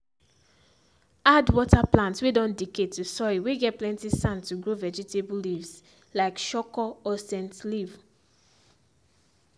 add water plant whey don decay to soil whey get plenty sand to grow vegetables leafs like soko or scent leaf